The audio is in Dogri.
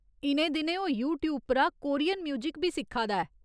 इ'नें दिनें ओह् यूट्यूब परा कोरियन म्यूजिक बी सिक्खा दा ऐ।